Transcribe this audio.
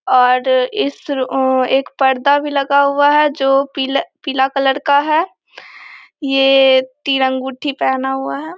और इस रु आ एक पर्दा भी लगा हुआ है जो पीला पीला कलर का है ये तीर अंगूठी पहना हुआ है ।